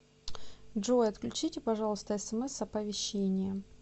джой отключите пожалуйста смс оповещения